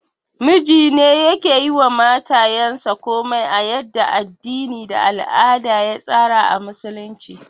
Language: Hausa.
Mijine yake yiwa matayansa komai a yadda addini da al'ada ya tsara a Musulunci